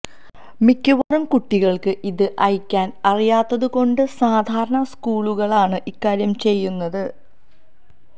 മിക്കവാറും കുട്ടികള്ക്ക് ഇത് അയക്കാന് അറിയാത്തതുകൊണ്ട് സാധാരണ സ്കൂളുകളാണ് ഇക്കാര്യം ചെയ്യുന്നത്